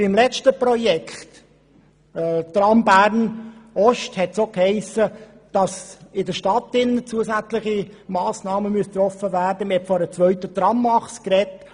Beim letzten Projekt Tram Bern Ost hiess es auch, in der Stadt müssten zusätzliche Massnahmen getroffen werden, und man sprach von einer zweiten Tramachse.